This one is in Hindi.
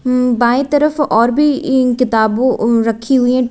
बाएं तरफ और भी इं किताबों रखी हुई हैं टे--